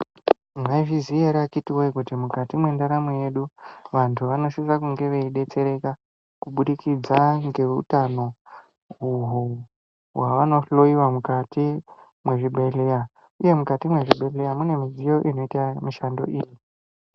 Maizviziva here akiti woye kuti mukati mendaramo yedu vantu vanosisa kunge veidetsereka kuburikidza nehutano uhu kumwira mukati mezvibhedhlera mune midziyo inoita mishando iyi.